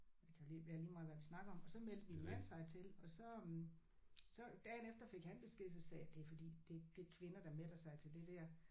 Det kan vel være lige meget hvad vi snakker om og så meldte min mand sig til og så øh så dagen efter fik han besked så sagde jeg det er fordi det det er kvinder der melder sig til det der